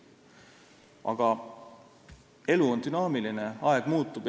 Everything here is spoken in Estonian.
Aga elu on dünaamiline, aeg muutub.